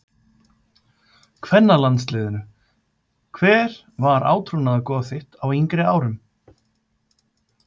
kvennalandsliðinu Hver var átrúnaðargoð þitt á yngri árum?